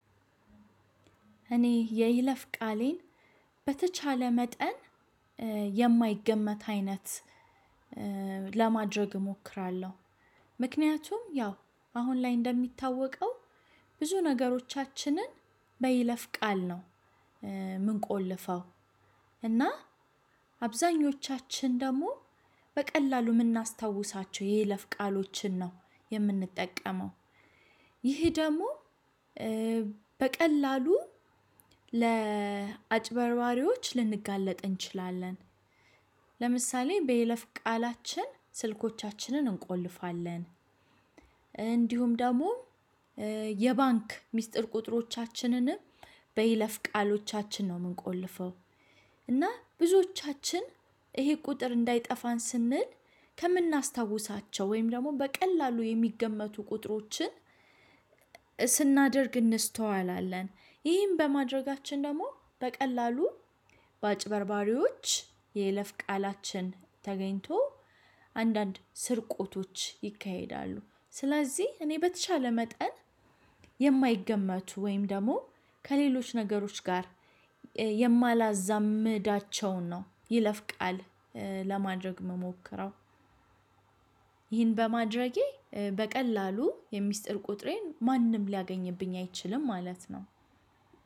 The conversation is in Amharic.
እኔ የይለፍ ቃሌን በተቻለ መጠን የማይገመት አይነት ለማድረግ እሞክራለሁ። ምክንያቱም ያው አሁን ላይ እንደሚታወቀው ብዙ ነገሮቻችንን በይለፍ ቃል ነው ምንቆልፈው እና አብዛኞቻችን ደግሞ በቀላሉ የምናስታውሳቸው የይለፍ ቃሎችን ነው የምንጠቀመው ይህ ደግሞ በቀላሉ ለአጭበርባሪዎች ልንጋለጥ እንችላለን። ለምሳሌ በይለፍ ቃላችን ስልኮቻችንን እንቆልፋለን። እንዲሁም ደግሞ የባንክ ሚስጥር ቁጥሮቻችንንም በይለፍ ቃሎቻችን ነው የምንቆልፈው እና ብዙዎቻችን ይሄ ቁጥር እንዳይጠፋን ስንል ከምናስታውሳቸው ወይም ደግሞ በቀላሉ የሚገመቱ ቁጥሮችን ስናደርግ እንስተዋላለን። ይህን በማድረጋችን ደግሞ በቀላሉ በአጭበርባሪዎች የይለፍ ቃላችን ተገኝቶ አንዳንድ ስርቆቶች ይካሄዳሉ። ስለዚህ እኔ በተቻለ መጠን የማይገመቱ ወይም ደግሞ ከሌሎች ነገሮች ጋር የማላዛምዳቸውን ነው ይለፍቃል ለማድረግ የምሞክረው ይህን በማድረጌ በቀላሉ የሚስጥር ቁጥሬን ማንም ሊያገኝብኝ አይችልም ማለት ነው።